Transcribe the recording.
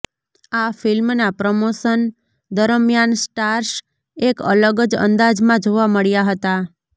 આ ફિલ્મના પ્રમોશન દરમિયાન સ્ટાર્સ એક અલગ જ અંદાજમાં જોવા મળ્યાં હતાં